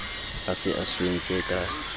a se a swentse ka